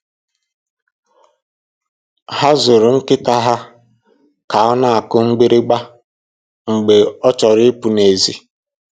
Ha zụrụ nkịta ha ka ọ na-akụ mgbịrịgba mgbe ọ chọrọ ịpụ n'èzí